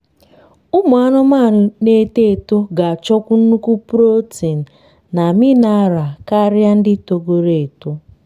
ụmụ anụmanụ na eto eto ga achọkwu nnukwu protein na mineral karia ndị togoro eto